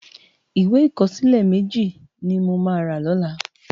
Iwé ikòsilè mèji ni mó má rá lòlá